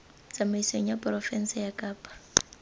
tsamaisong ya porofense ya kapa